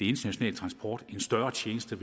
og en større tjeneste